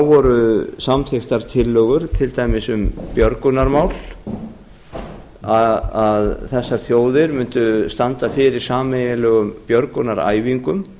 voru samþykktar tillögur til dæmis um björgunarmál að þessar þjóðir mundu standa fyrir sameiginlegum björgunaræfingum